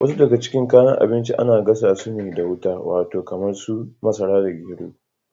Wasu daga cikin kayan abinci ana gasa su da wuta. Wato kamar su masara da gero.